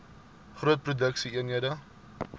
groot produksie eenhede